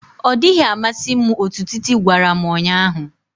Ọ dịghị amasị m otú Titi gwara m ụnyahụ